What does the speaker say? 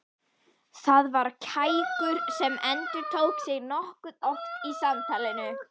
Það var kækur sem endurtók sig nokkuð oft í samtalinu.